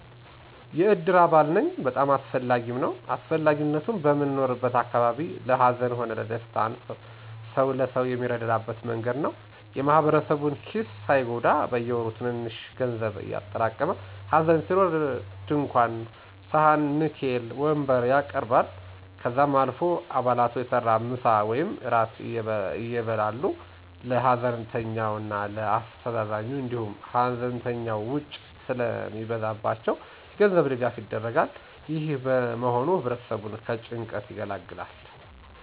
የእድር አባል ነኝ። በጣም አስፈላጊም ነዉ. አስፈላጊነቱም, በምንኖርበት አካባቢ ለ ሀዘን ሆነ ለደስታ ሰዉ ለሰው የሚረዳዳበት መንገድ ነዉ። የ ማህበረሰቡን ኪስ ሳይጎዳ በየወሩ ትንሽትንሽ ገንዘብ እያጠራቀሙ ሀዘን ሲኖር ድንኳን ,ሰሀን, ንኬል, ወንበር ያቀርባል። ከዛም አልፎ አባላቱ በየተራ ምሳ ወይም እራት ያበላሉ ለ ሀዘንተኛው እና ለ አስተዛዛኙ, እንዲሁም ሀዘንተኞች ውጪ ስለሚበዛባቸው የገንዘብ ድጋፍ ይደረጋል። ይህ መሆኑ ህብረተሰቡን ከጭንቀት ይገላግላል።